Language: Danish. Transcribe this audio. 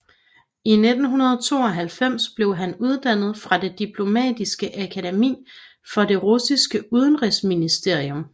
I 1992 blev han uddannet fra det Diplomatiske akademi for det russiske udenrigsministerium